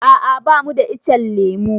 A'a bamu da ichen lemu.